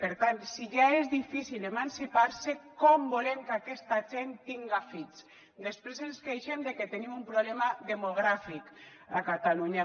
per tant si ja és difícil emancipar se com volem que aquesta gent tinga fills després ens queixem de que tenim un problema demogràfic a catalunya